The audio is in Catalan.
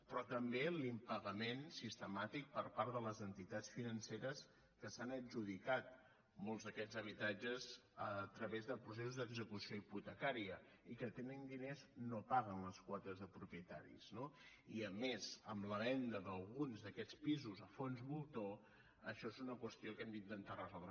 però també l’impagament sistemàtic per part de les entitats financeres que s’han adjudicat molts d’aquests habitatges a través de processos d’execució hipotecària i que tenint diners no paguen les quotes de propietaris no i a més amb la venda d’alguns d’aquests pisos a fons voltor això és una qüestió que hem d’intentar resoldre